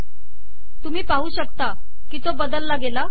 तुम्ही पाहू शकता की तो बदलला गेला